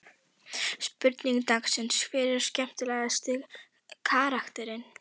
Spurning dagsins: Hver er skemmtilegasti karakterinn?